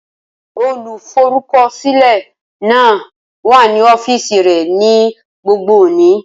Olùforúkọsílẹ̀ náà wà ní ọ́fíìsì rẹ̀ ní gbogbo òní.